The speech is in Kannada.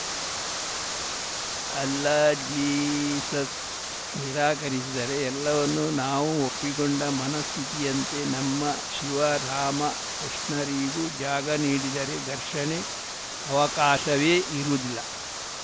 ಅಲ್ಲಾ ಜೀಸಸ್‌ ನಿರಾಕರಿಸಿದರೇ ಎಲ್ಲವನ್ನೂ ನಾವು ಒಪ್ಪಿಕೊಂಡ ಮನಸ್ಥಿತಿಯಂತೆ ನಮ್ಮ ಶಿವ ರಾಮ ಕೃಷ್ಣರಿಗೂ ಜಾಗ ನೀಡಿದರೆ ಘರ್ಷಣೆಗೆ ಅವಕಾಶವೇ ಇರುವುದಿಲ್ಲ